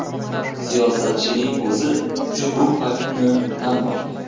Siyosatchining o‘zi ushbu faktni tan olgan.